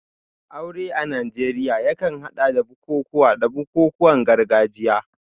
Aure a Najeriya yakan hada da bukukuwa da bukukuwan gargajiya.